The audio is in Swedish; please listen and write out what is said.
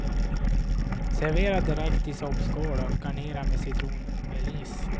Servera direkt i soppskål och garnera med citronmeliss.